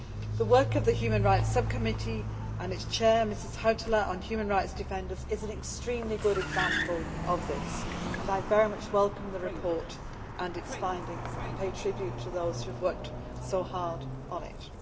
The work of the Human Rights Subcommittee and its Chair, Mrs Hautala, on human rights defenders is an extremely good example of this and I very much welcome the report and its findings and pay tribute to those who have worked so hard on it.